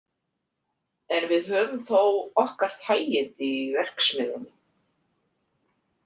En við höfum þó okkar þægindi í verksmiðjunni.